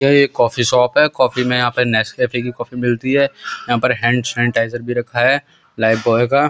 ये एक coffee shop है। कॉफ़ी में यहाँ नेस्ले की कॉफ़ी भी मिलती है। यहाँ पर हैंड सेनिटिज़ेर भी रखा है लाइफ बोय का।